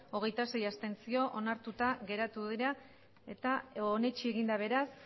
hogeita sei abstentzio onartuta geratu dira eta onetsi egin da beraz